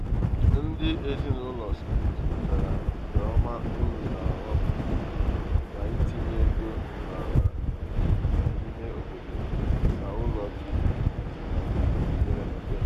ndị ezinaụlọ smith nyochara nke ọma uru na ọghọm dị n'itinye ego n'ala dị n'ime obodo na ụlọ dị n'obodo mepere emepe.